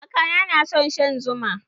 Kakana na son shan zuma.